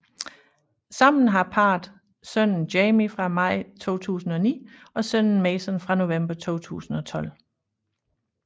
Sammen har parret sønnen Jamie fra maj 2009 og sønnen Mason fra november 2012